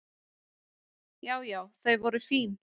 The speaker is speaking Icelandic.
Já já þau voru fín.